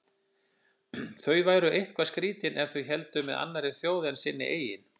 Þau væru eitthvað skrýtin ef þau héldu með annarri þjóð en sinni eigin.